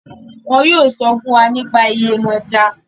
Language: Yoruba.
wọn yóò sọ fún wa nípa Yemọja